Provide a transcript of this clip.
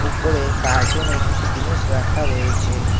উপরে কার্টুনে কিছু জিনিস রাখা রয়েছে।